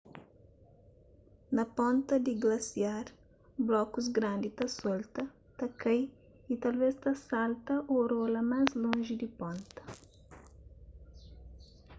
na ponta di glasiar blokus grandi ta solta ta kai y talvês ta salta ô rola más lonji di ponta